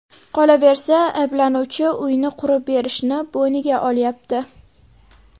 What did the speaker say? Qolaversa, ayblanuvchi uyni qurib berishini bo‘yniga olyapti.